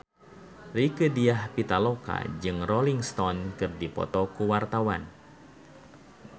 Rieke Diah Pitaloka jeung Rolling Stone keur dipoto ku wartawan